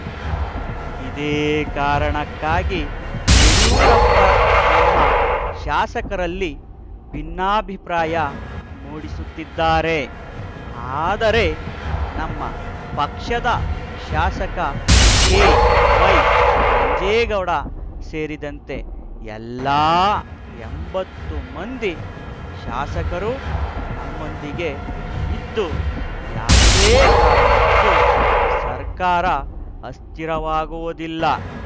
ಇದೇ ಕಾರಣಕ್ಕಾಗಿ ಯಡಿಯೂರಪ್ಪ ನಮ್ಮ ಶಾಸಕರಲ್ಲಿ ಭಿನ್ನಾಭಿಪ್ರಾಯ ಮೂಡಿಸುತ್ತಿದ್ದಾರೆ ಆದರೆ ನಮ್ಮ ಪಕ್ಷದ ಶಾಸಕ ಕೆವೈ ನಂಜೇಗೌಡ ಸೇರಿದಂತೆ ಎಲ್ಲಾ ಎಂಬತ್ತು ಮಂದಿ ಶಾಸಕರು ನಮ್ಮೊಂದಿಗೆ ಇದ್ದು ಯಾವುದೇ ಕಾರಣಕ್ಕೂ ಸರ್ಕಾರ ಅಸ್ಥಿರವಾಗುವುದಿಲ್ಲ